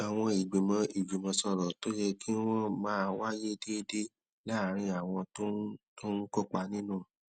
àwọn ìgbìmọ ìjùmòsòrò tó yẹ kí wón máa wáyé déédéé láàárín àwọn tó ń tó ń kópa nínú